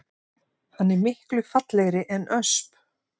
Hann er miklu fallegri en ösp